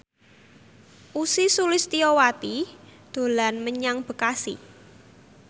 Ussy Sulistyawati dolan menyang Bekasi